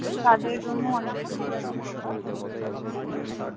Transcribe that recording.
তাদের জন্য অনেক সুবিধা